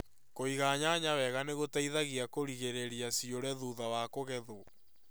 Kũiga nyanya wega nĩ gũteithagia kũgirĩrĩria ciũre thutha wa kũgethũo.